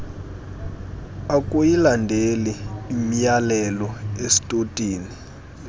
akuyilandeli imyalelo estotini